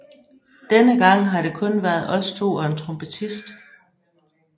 Denne gang har det kun været os to og en trompetist